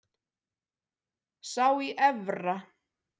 Sá í Efra.